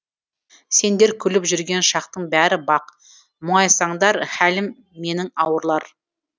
сендер күліп жүрген шақтың бәрі бақ мұңайсаңдар хәлім менің ауырлар